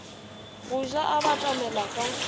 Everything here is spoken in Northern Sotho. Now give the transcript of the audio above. go ja a batamela ka